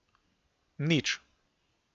Nič.